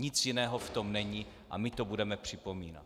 Nic jiného v tom není a my to budeme připomínat!